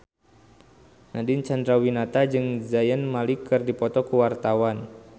Nadine Chandrawinata jeung Zayn Malik keur dipoto ku wartawan